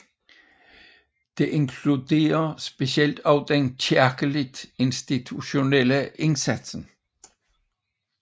Det inkluderer specielt også den kirkeligt institutionelle indsats